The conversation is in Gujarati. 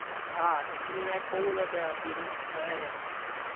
હા સિદ્ધિવિનાયક બોવ જ અત્યરે ભીડ હોય જ એમ.